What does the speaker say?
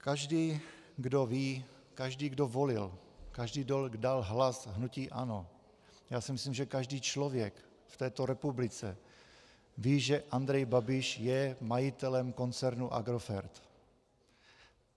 Každý, kdo ví, každý, kdo volil, každý, kdo dal hlas hnutí ANO, já si myslím, že každý člověk v této republice ví, že Andrej Babiš je majitelem koncernu Agrofert.